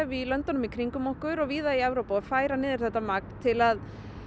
í löndunum í kringum okkur og víða í Evrópu að færa niður þetta magn til að